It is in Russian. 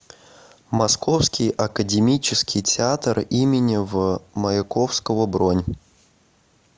московский академический театр им в маяковского бронь